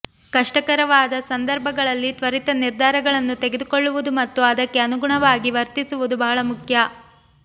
ಕಷ್ಟಕರವಾದ ಸಂದರ್ಭಗಳಲ್ಲಿ ತ್ವರಿತ ನಿರ್ಧಾರಗಳನ್ನು ತೆಗೆದುಕೊಳ್ಳುವುದು ಮತ್ತು ಅದಕ್ಕೆ ಅನುಗುಣವಾಗಿ ವರ್ತಿಸುವುದು ಬಹಳ ಮುಖ್ಯ